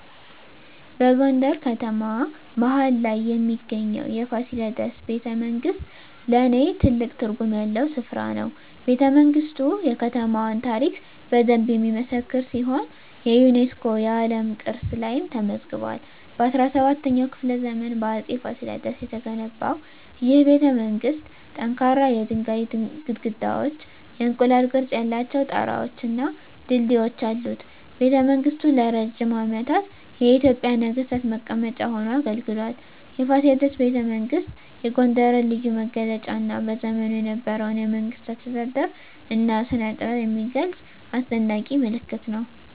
በጎንደር ከተማ መሀል ላይ የሚገኘው የፋሲለደስ ቤተመንግሥት ለኔ ትልቅ ትርጉም ያለው ስፍራ ነው። ቤተመንግስቱ የከተማዋን ታሪክ በደንብ የሚመሰክር ሲሆን የዩኔስኮ የዓለም ቅርስ ላይም ተመዝግቧል። በ17ኛው ክፍለ ዘመን በአፄ ፋሲለደስ የተገነባው ይህ ቤተመንግሥት ጠንካራ የድንጋይ ግድግዳዎች፣ የእንቁላል ቅርፅ ያላቸው ጣራወች እና ድልድዮች አሉት። ቤተመንግሥቱ ለረጅም ዓመታት የኢትዮጵያ ነገሥታት መቀመጫ ሆኖ አገልግሏል። የፋሲለደስ ቤተመንግሥት የጎንደርን ልዩ መገለጫ እና በዘመኑ የነበረውን የመንግሥት አስተዳደር እና ስነጥበብ የሚገልጽ አስደናቂ ምልክት ነው።